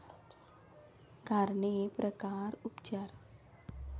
कारणे, प्रकार, उपचार